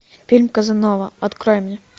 фильм казанова открой мне